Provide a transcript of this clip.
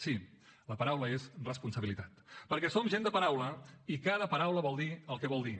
sí la paraula és responsabilitat perquè som gent de paraula i cada paraula vol dir el que vol dir